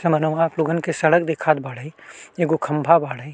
समनवा आप लोगन के सड़क दिखात बाड़े एगो खम्भा बाड़े।